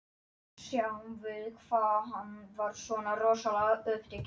Þar með var sjálfsmorðinu frestað um sinn.